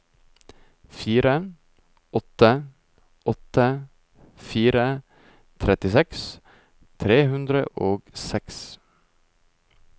fire åtte åtte fire trettiseks tre hundre og seks